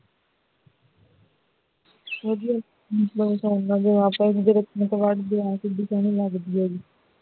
ਵਧੀਆ ਹੂ ਕਿੱਡੀ ਸੋਹਣੀ ਲੱਗਦੀ ਹੈ ਗੀ